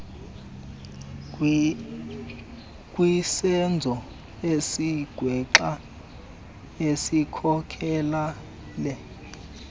kwisenzo esigwenxa esikhokelele